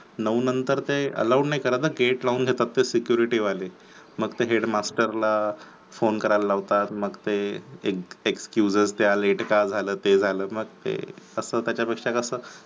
नऊ नंतर ते Allowed नाही करत gate लावून देतात ते security वाले मग ते हेडमास्तर ला फोन करायला लागतात, मग ते excuses द्या लेट का झालं ते झालं मग ते आता त्याच्यापेक्षा कस